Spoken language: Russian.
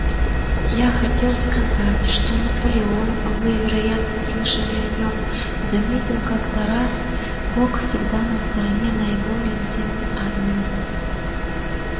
я хотел сказать что наполеон вы вероятно слышали о нем заметил как-то раз бог всегда на стороне более сильной армии